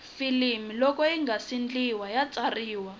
filimi loko yingase ndliwa ya tsariwa